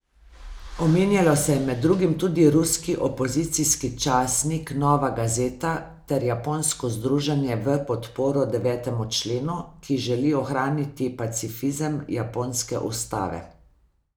Omenjalo se je med drugim tudi ruski opozicijski časnik Nova Gazeta ter japonsko Združenje v podporo devetemu členu, ki želi ohraniti pacifizem japonske ustave.